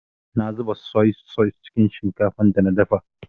Na zuba soi-sos cikin shinkafar da na dafa.